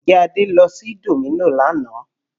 Ǹjẹ́ Adé lọ sí Domino's lánàá?